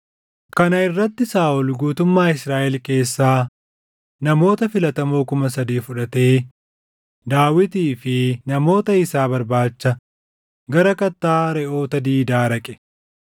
Kana irratti Saaʼol guutummaa Israaʼel keessaa namoota filatamoo kuma sadii fudhatee Daawitii fi namoota isaa barbaacha gara Kattaa Reʼoota diidaa dhaqe.